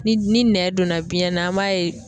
Ni ni nɛn donna biɲɛ na, an b'a ye